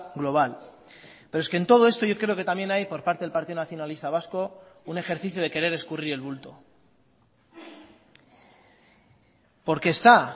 global pero es que en todo esto yo creo que también hay por parte del partido nacionalista vasco un ejercicio de querer escurrir el bulto porque está